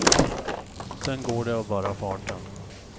Sen går det av bara farten.